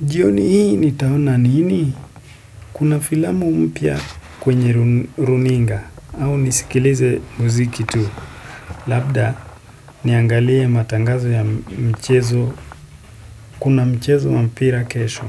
Jioni hii nitaona nini? Kuna filamu mpya kwenye runinga au nisikilize muziki tu. Labda niangalie matangazo ya mchezo. Kuna mchezo wa mpira kesho.